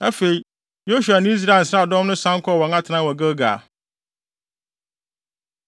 Afei, Yosua ne Israel nsraadɔm no san kɔɔ wɔn atenae wɔ Gilgal.